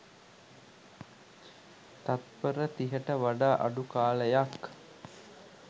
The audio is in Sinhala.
තත්පර තිහට වඩා අඩු කාලයක්